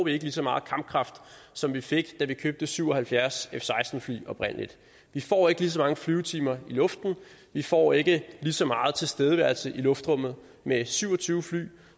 ikke lige så meget kampkraft som vi fik da vi købte syv og halvfjerds f seksten fly oprindelig vi får ikke lige så mange flyvetimer i luften vi får ikke lige så meget tilstedeværelse i luftrummet med syv og tyve fly